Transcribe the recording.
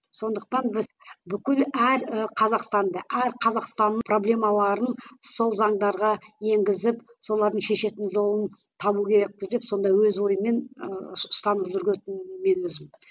сондықтан біз бүкіл әр і қазақстанды әр қазақстанның проблемаларын сол заңдарға енгізіп солардың шешетін жолын табу керекпіз деп сонда өз ойымен ыыы ұстанып мен өзім